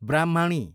ब्राह्मणी